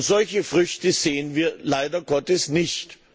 Solche Früchte sehen wir leider Gottes nicht.